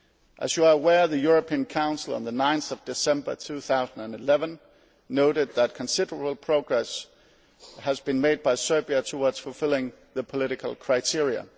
As you are aware, the European Council on 9 December 2011 noted that considerable progress has been made by Serbia towards fulfilling the political criteria.